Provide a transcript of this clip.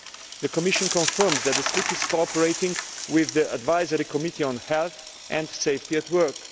The Commission confirms that SLIC is cooperating with the Advisory Committee on Health and Safety at Work.